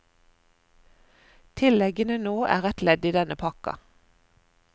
Tilleggene nå er et ledd i denne pakken.